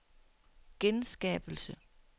genskabelse